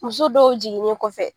Muso dɔw jiginnen kɔfɛ.